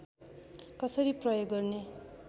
कसरी प्रयोग गर्ने